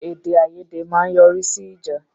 Èdè-àiyèdè ma n yọrí sí ìjà